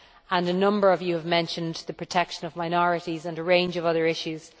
and a number of you have mentioned the protection of minorities and a range of other issues.